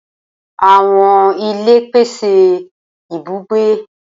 Awọn ile pese ibugbe.